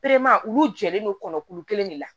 olu jɛlen do kɔnɔ kulu kelen de la